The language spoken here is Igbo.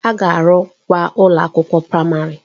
A ga-arụkwa ụlọ akwụkwọ praịmarị.